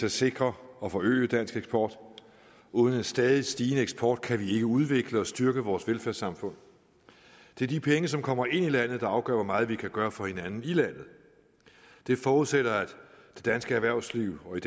at sikre og forøge dansk eksport uden en stadigt stigende eksport kan vi ikke udvikle og styrke vores velfærdssamfund det er de penge som kommer ind i landet der afgør hvor meget vi kan gøre for hinanden det forudsætter at det danske erhvervsliv og i